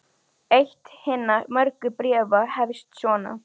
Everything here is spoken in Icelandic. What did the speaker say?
Eitt hinna mörgu bréfa hefst svona